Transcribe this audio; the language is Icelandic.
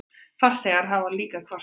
Farþegar hafa líka kvartað.